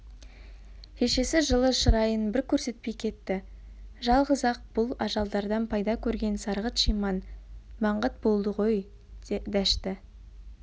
шешесі жылы шырайын бір көрсетпей кетті жалғыз-ақ бұл ажалдардан пайда көрген сарғыт-шиман маңғыт болды ғой дәшті